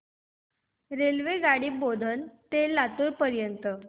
रेल्वेगाडी बोधन ते लातूर पर्यंत